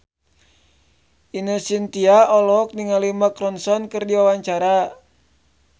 Ine Shintya olohok ningali Mark Ronson keur diwawancara